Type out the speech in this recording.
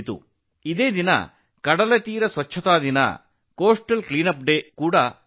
ಅಂದು ಕರಾವಳಿ ಸ್ವಚ್ಛತಾ ದಿನವೂ ಆಗಿತ್ತು